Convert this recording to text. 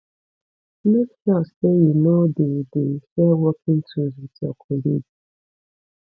make sure say you no de de share working tools with your colleague